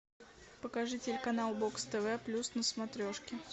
покажи телеканал бокс тв плюс на смотрешке